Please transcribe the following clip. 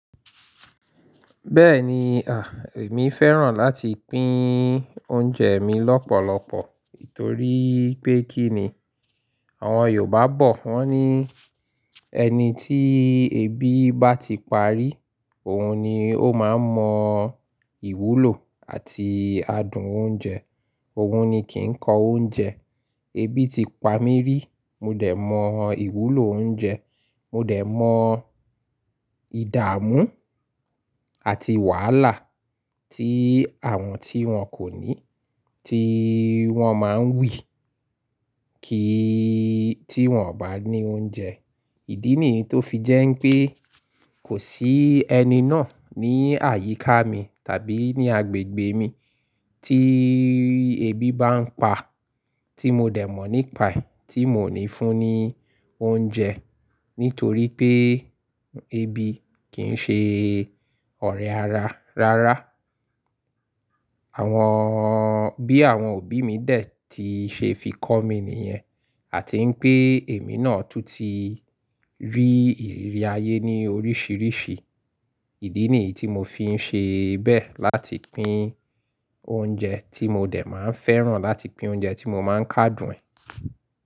Bẹ́ẹ̀ni, èmi fẹ́ràn láti pín oúnjẹ mi lọ́pọ̀lọpọ̀ torí pé kí ni àwọn Yorùbá bọ̀ wọ́n ní, ẹni tí ebi bá ti pa rí, òun ni ó máa ń mọ ìwúlò àti adùn oúnjẹ, òun ni kì í kọ oúnjẹ. Ebi ti pamí rí, mo dẹ̀ mọ ìwúlò oúnjẹ, mo dẹ̀ mọ ìdààmú àti wàhálà tí àwọn tí wọn kò ní, tí wọ́n máa ń wì kí tí wọ́n ò bá ní oúnjẹ. Ìdí nìyí tó fi jẹ́ wipé kò sí ẹni náà ní àyíká mi tàbí ní agbègbè mi tí ebi bá ń pa tí mo dẹ̀ mọ̀ nípa ẹ̀ tí mò ní fún ní oúnjẹ nítorí pé ebi kìi n ṣe ọ̀rẹ́ ara rárá. Àwọn, bí àwọn òbí mi dè tí ṣe fi kọ́ mi nìyẹn, àti pé èmi náà tún ti rí ìrírí ayé ní oríṣiríṣi. Ìdí nìyí tí mo fi ń ṣe bẹ́ẹ̀ láti pín oúnjẹ tí mo dẹ̀ máa ń fẹ́ràn láti pín oúnjẹ tí mo máa ń ká dùn ẹ.